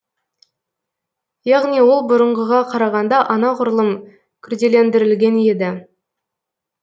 яғни ол бұрынғыға қарағанда анағұрлым күрделендірілген еді